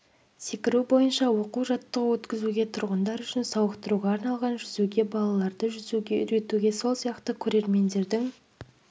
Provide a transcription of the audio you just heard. секіру бойынша оқу-жаттығу өткізуге тұрғындар үшін сауықтыруға арналған жүзуге балаларды жүзуге үйретуге сол сияқты көрермендердің